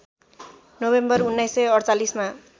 नभेम्बर १९४८ मा